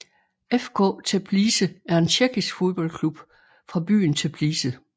FK Teplice er en tjekkisk fodboldklub fra byen Teplice